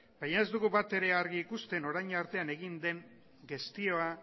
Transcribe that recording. baina ez dugu batere argi ikusten orain arte egin den gestioa